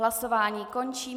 Hlasování končím.